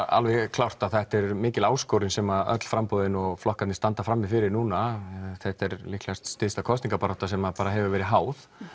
klárt að þetta er mikil áskoruns sem öll framboðin og flokkarnir standa frammi fyrir núna þetta er líklega stysta kosningabarátta sem hefur verið háð